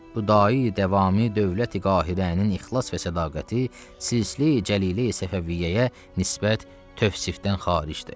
Bu dai-dəvami dövləti-qahirənin ixlas və sədaqəti silsilə-i cəlilə-i səfəviyyəyə nisbət tövsifdən xaricdir.